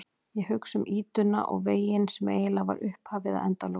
Ég hugsa um ýtuna og veginn sem eiginlega var upphafið að endalokunum.